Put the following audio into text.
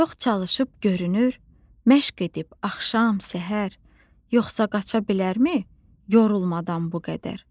Çox çalışıb görünür, məşq edib axşam səhər, yoxsa qaça bilərmi yorulmadan bu qədər.